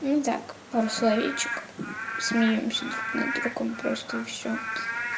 ну так пара словечек смеёмся друг над другом просто и все